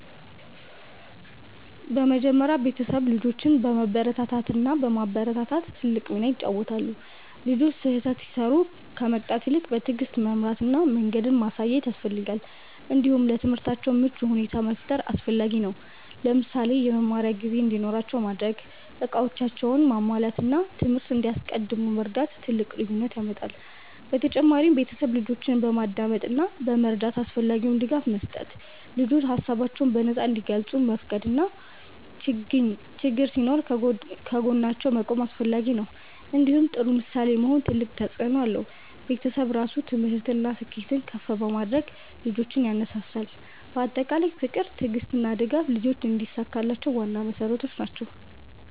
በመጀመሪያ ቤተሰብ ልጆችን በመበረታታት እና በማበረታታት ትልቅ ሚና ይጫወታል። ልጆች ስህተት ሲሰሩ ከመቅጣት ይልቅ በትዕግስት መምራት እና መንገድ ማሳየት ያስፈልጋል። እንዲሁም ለትምህርታቸው ምቹ ሁኔታ መፍጠር አስፈላጊ ነው። ለምሳሌ የመማሪያ ጊዜ እንዲኖራቸው ማድረግ፣ እቃዎቻቸውን ማሟላት እና ትምህርት እንዲያስቀድሙ መርዳት ትልቅ ልዩነት ያመጣል። በተጨማሪም ቤተሰብ ልጆችን በማዳመጥ እና በመረዳት አስፈላጊ ድጋፍ መስጠት። ልጆች ሀሳባቸውን በነፃ እንዲገልጹ መፍቀድ እና ችግኝ ሲኖር ከጎናቸው መቆም አስፈላጊ ነው። እንዲሁም ጥሩ ምሳሌ መሆን ትልቅ ተፅእኖ አለው። ቤተሰብ ራሱ ትምህርትን እና ስኬትን ከፍ በማድረግ ልጆችን ያነሳሳል። በአጠቃላይ ፍቅር፣ ትዕግስት እና ድጋፍ ልጆች እንዲሳካላቸው ዋና መሠረቶች ናቸው።